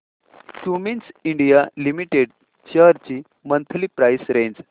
Cummins India limited shares ची monthly price range